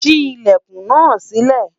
sí ilẹkùn nà sile